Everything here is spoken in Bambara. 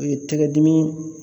O ye tɛgɛdimi